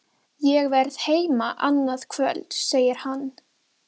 En ég vildi ekki kalla þig Bíbí.